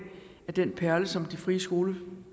at den perle som de frie skoler